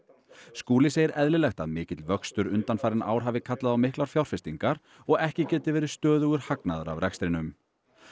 Skúli segir eðlilegt að mikill vöxtur undanfarin ár hafi kallað á miklar fjárfestingar og ekki geti verið stöðugur hagnaður af rekstrinum